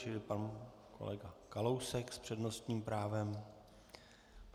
Čili pan kolega Kalousek s přednostním právem.